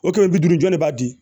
O kɛmɛ bi duuru jɔ de b'a di